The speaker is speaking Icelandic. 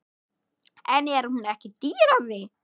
En er hún ekki dýrari?